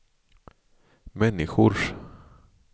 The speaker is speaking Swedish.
människors